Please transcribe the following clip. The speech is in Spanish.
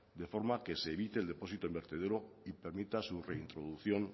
de forma que se evite el depósito en vertedero y permita su reintroducción